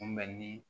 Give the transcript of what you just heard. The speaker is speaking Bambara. Kunbɛnni